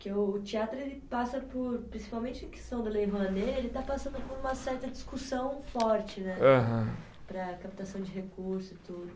Porque o teatro ele passa por, principalmente em questão da Lei Rouanet, ele está passando por uma certa discussão forte né. Aham. Para a captação de recursos e tudo.